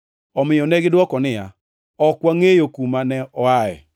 Omiyo negidwoko niya, “Ok wangʼeyo kuma ne oaye.”